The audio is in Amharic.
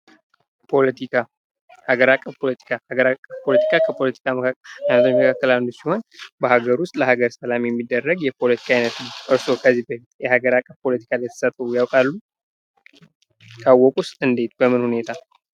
ፖለቲካ ሀገር አቀፍ ፖለቲካ ሀገር አቀፍ ፖለቲካ ከፖለቲካ መካከል አንዱ ሲሆን በአገር ውስጥ ለአገር ሰላም የሚደረግ የሀገር ውስጥ ፖለቲካ ነው። እርስዎ ከዚህ በፊት የአለም አቀፍ ፖለቲካ ላይ ተሳትፈው ያውቃሉ? ካወቁስ እንዴት በምን ሁኔታ?